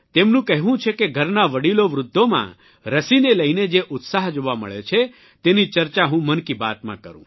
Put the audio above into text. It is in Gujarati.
તેમનું કહેવું છે કે ઘરનાં વડીલોવૃદ્ધોમાં રસીને લઇને જે ઉત્સાહ જોવા મળે છે તેની ચર્ચા હું મનકી બાતમાં કરૂં